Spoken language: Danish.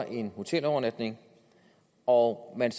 en hotelovernatning og at man